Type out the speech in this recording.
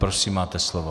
Prosím, máte slovo.